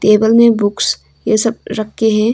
Table में books ये सब रखे के हैं।